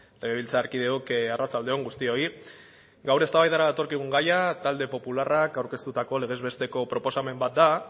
legebiltzarkideok arratsaldeon guztioi gaur eztabaidara datorkigun gaia talde popularrak aurkeztutako legez besteko proposamen bat da